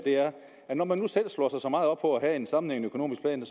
når man selv slår sig så meget op på at have en sammenhængende økonomisk plan